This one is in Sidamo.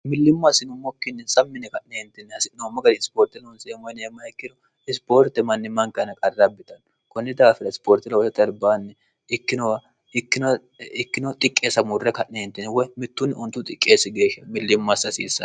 millimmo asinummokkinnin sammine ka'neentinni hasi'noommo gani isipoorte noonseemmo yineemma ikkiru isipoorte mannimmanka ana qarrabbitanno kunni daafina isipoorti looo terbaanni ikiowikkino xiqqeessa muurre ka'neentini woy mittunni untu xiqqeessi geeshsha millimmo assi asiissan